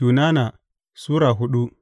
Yunana Sura hudu